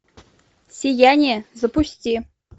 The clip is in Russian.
сияние запусти